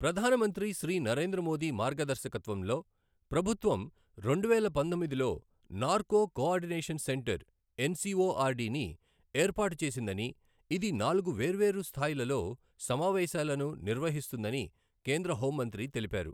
ప్రధాన మంత్రి శ్రీ నరేంద్ర మోదీ మార్గదర్శకత్వంలో ప్రభుత్వం రెండువేల పంతొమ్మిదిలో నార్కో కోఆర్డినేషన్ సెంటర్ ఎన్సిఒఆర్డి ని ఏర్పాటు చేసిందని ఇది నాలుగు వేర్వేరు స్థాయిలలో సమావేశాలను నిర్వహిస్తుందని కేంద్ర హోం మంత్రి తెలిపారు.